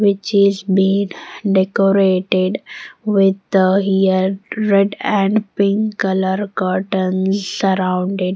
Which is been decorated with here red and pink color curtains surrounding.